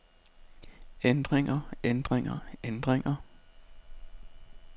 ændringer ændringer ændringer